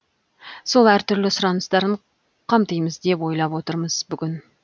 сол әртүрлі сұраныстарын қамтимыз деп ойлап отырмыз бүгін